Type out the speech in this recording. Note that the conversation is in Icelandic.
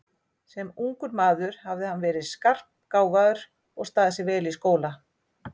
Sem ungur maður hafði hann verið skarpgáfaður og staðið sig vel í skóla.